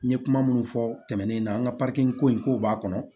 N ye kuma minnu fɔ tɛmɛnen na n ka ko in ko b'a kɔnɔ